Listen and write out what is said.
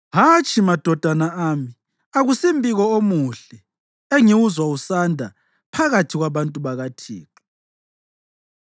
Hatshi, madodana ami; akusimbiko omuhle engiwuzwa usanda phakathi kwabantu bakaThixo.